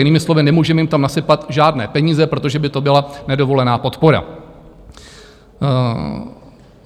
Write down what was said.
Jinými slovy, nemůžeme jim tam nasypat žádné peníze, protože by to byla nedovolená podpora.